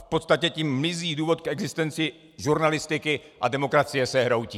V podstatě tím mizí důvod k existenci žurnalistiky a demokracie se hroutí.